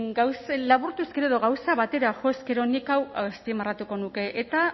laburtuz gero edo gauza batera jo ezkero nik hau azpimarratuko nuke eta